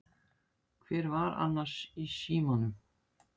Hver var annars í símanum?